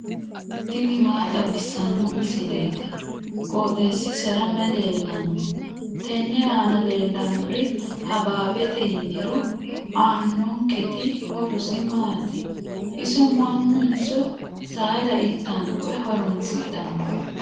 tini maa xawissanno misileeti? qooxeessisera may leellanno? tenne aana leellannori habaabete yiniro aannonketi horosi maati? iso mannunso saada ittanno woy horoonsidhanno?